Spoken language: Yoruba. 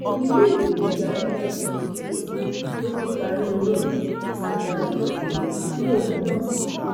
iléèwé gíga yunifásitì èkó ló ti parí olórin tajàsùfèé lòun náà